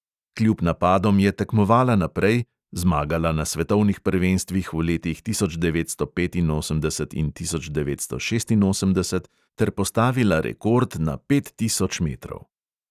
Kljub napadom je tekmovala naprej, zmagala na svetovnih prvenstvih v letih tisoč devetsto petinosemdeset in tisoč devetsto šestinosemdeset ter postavila rekord na pet tisoč metrov.